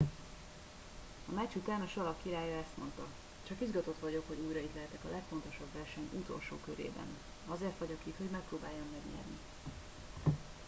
a meccs után a salak királya ezt mondta csak izgatott vagyok hogy újra itt lehetek a legfontosabb verseny utolsó körében azért vagyok itt hogy megpróbáljam megnyerni